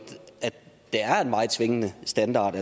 der er en meget svingende standard